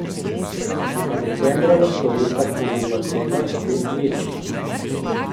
Je pa decembra na stojnicah ponudba tega spet večja.